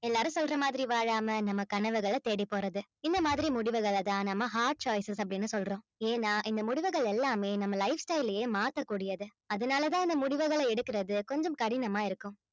எல்லாரும் சொல்ற மாதிரி வாழாம நம்ம கனவுகளை தேடி போறது இந்த மாதிரி முடிவுகளைதான் நம்ம hard choices அப்படின்னு சொல்றோம் ஏன்னா இந்த முடிவுகள் எல்லாமே நம்ம lifestyle லயே மாத்தக்கூடியது அதனாலதான் இந்த முடிவுகளை எடுக்கிறது கொஞ்சம் கடினமா இருக்கும்